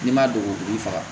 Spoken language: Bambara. N'i ma don i faga